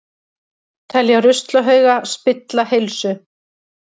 Telja ruslahauga spilla heilsu